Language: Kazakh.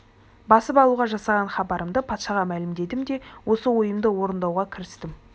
басып алуға жасаған хабарымды патшаға мәлімдедім де осы ойымды орындауға кірістім